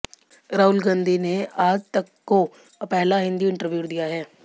राहुल गांधी ने आज तक को पहला हिंदी इंटरव्यू दिया है